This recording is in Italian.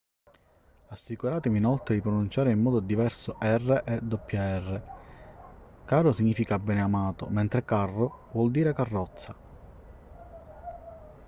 assicuratevi inoltre di pronunciare in modo diverso r e rr caro significa beneamato mentre carro vuol dire carrozza